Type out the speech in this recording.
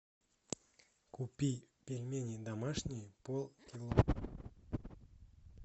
купи пельмени домашние полкило